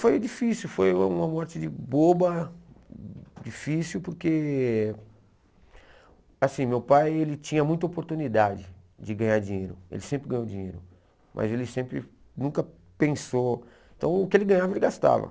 Foi difícil, foi uma morte de boba, difícil, porque assim meu pai ele tinha muita oportunidade de ganhar dinheiro, ele sempre ganhou dinheiro, mas ele sempre nunca pensou, então o que ele ganhava ele gastava.